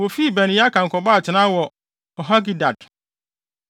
Wofii Beneyaakan kɔbɔɔ atenae wɔ Horhagidgad.